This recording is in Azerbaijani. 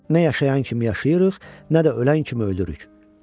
Nə yaşayan kimi yaşayırıq, nə də ölən kimi ölürük.